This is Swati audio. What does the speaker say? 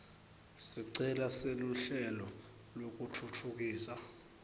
sicelo seluhlelo lwekutfutfukisa